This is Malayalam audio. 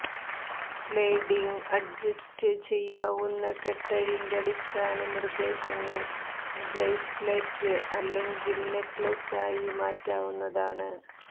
സ്ലൈഡിംഗ് അഡ്ജസ്റ്റ് ചെയ്യാവുന്ന കെട്ടഴിന്റെ അടിസ്ഥാന നിർദ്ദേശങ്ങൾ ബ്രേസ്ലെറ്റ് അല്ലെങ്കിൽ നെക്ലേസിനായി മാറ്റാവുന്നതാണ്